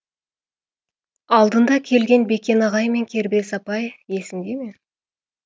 алдында келген бекен ағай мен кербез апай есіңде ме